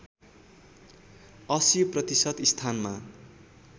८० प्रतिशत स्थानमा